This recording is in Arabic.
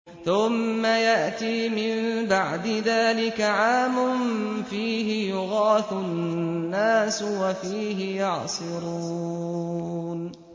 ثُمَّ يَأْتِي مِن بَعْدِ ذَٰلِكَ عَامٌ فِيهِ يُغَاثُ النَّاسُ وَفِيهِ يَعْصِرُونَ